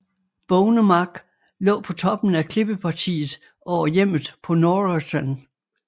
Bognemark lå på toppen af klippepartiet over hjemmet på Norresân